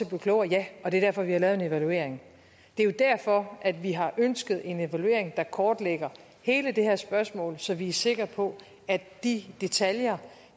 blive klogere ja og det er derfor vi har lavet en evaluering det er jo derfor at vi har ønsket en evaluering der kortlægger hele det her spørgsmål så vi er sikre på at de detaljer